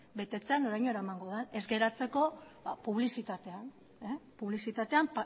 betetzea noraino eramango den ez geratzeko publizitatean